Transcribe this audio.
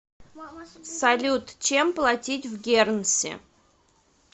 салют чем платить в гернси